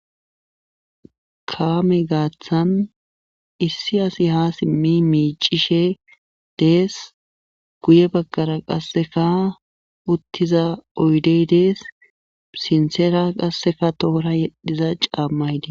Kaame gaathan issi asi haa simmi miiccishee dees guye baggara qasseka uttiza oydey dees sinthera qasseka toora yedhiza caammay dees.